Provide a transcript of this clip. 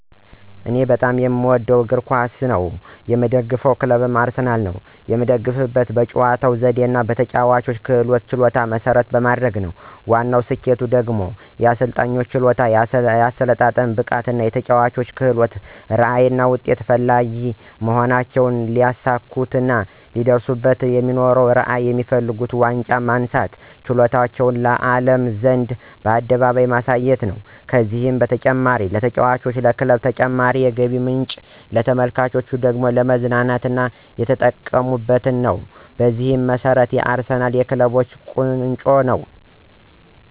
እኔ በጣም የምወደው እግር ኳስ ነው። የምደግፈው ክለብም አርሰናል ነው። የምደግፈውም በአጨዋወቱ ዘዴና በተጨዋቾች ክህሎትና ችሎታን መሰረት በማድረግ ነው። ዋናው ስኬቱ ደግሞ የአሰልጣኙ ችሎታ፣ የአሰለጣጠን ብቃቱ፣ የተጨዋቾች ክህሎት፣ ራዕይ፣ ውጤት ፈላጊ መሆናቸውና ሊያሳኩትና ሊደርሱበትራዕይና የሚፈልጉት ዋንጫ ማንሳትና ችሎታቸውን ለአለም ዘንድ በአደባባይ ማሳየት ነው። ከዚህም በተጨማሪ ለተጫዋቾች፣ ለክለቡ ተጨማሪ የገቢ ምንጭና ለተመልካቹ ደግሞ ለመዝናኛ እየተጠቀመበት ነው። በዚህ መሰረት አርሰናል የክለቦች ቆንጮ ነው